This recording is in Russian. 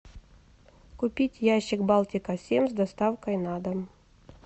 купить ящик балтика семь с доставкой на дом